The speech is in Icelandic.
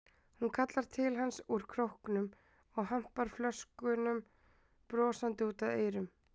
Hún kallar til hans úr króknum og hampar flöskunum brosandi út að eyrum.